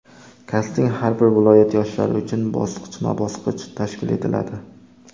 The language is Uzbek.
Kasting har bir viloyat yoshlari uchun bosqichma-bosqich tashkil etiladi.